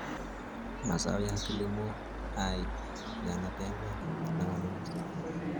Mazao ya kilimo hai yanapendwa na wanunuzi.